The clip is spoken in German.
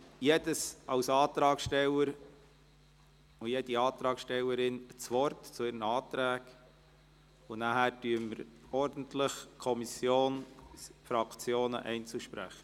– Jeder Antragsteller und jede Antragstellerin erhält das Wort zu ihren Anträgen, und dann folgen ordentlich die Kommission, die Fraktionen und die Einzelsprecher.